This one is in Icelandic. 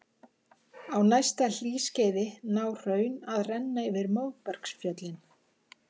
Á næsta hlýskeiði ná hraun að renna yfir móbergsfjöllin.